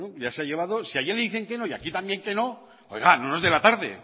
ya se ha llevado si allí le dicen que no y aquí también que no oiga no nos dé la tarde es